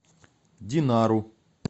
динару